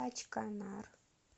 качканар